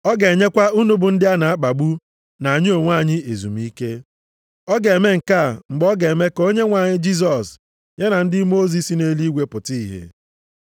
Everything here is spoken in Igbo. Ọ ga-enyekwa unu bụ ndị a na-akpagbu na anyị onwe anyị ezumike. Ọ ga-eme nke a mgbe a ga-eme ka Onyenwe anyị Jisọs ya na ndị mmụọ ozi si nʼeluigwe pụta ìhè.